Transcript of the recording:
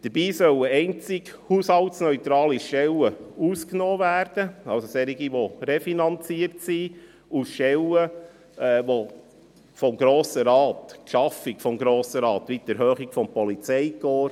Dabei sollen einzig haushaltsneutrale Stellen ausgenommen werden, also solche, die refinanziert sind, sowie Stellen, deren Schaffung vom Grossen Rat ausdrücklich gebilligt wurde, wie etwa die Vergrösserung des Polizeikorps.